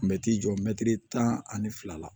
Mɛtiri jɔ mɛtiri tan ani fila la